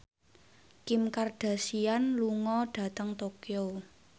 Kim Kardashian lunga dhateng Tokyo